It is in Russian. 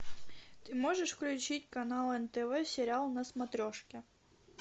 ты можешь включить канал нтв сериал на смотрешке